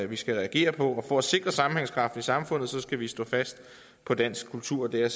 vi skal reagere på og for at sikre sammenhængskraften i samfundet skal vi stå fast på dansk kultur det er